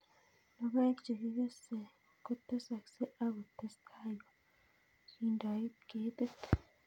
logoek che kakikes kotesakse ako testai ko kindoit ketit